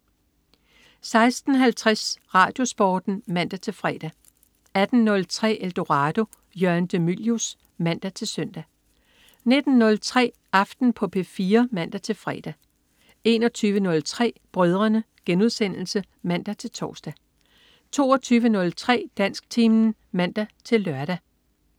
16.50 RadioSporten (man-fre) 18.03 Eldorado. Jørgen de Mylius (man-søn) 19.03 Aften på P4 (man-fre) 21.03 Brødrene* (man-tors) 22.03 Dansktimen (man-lør)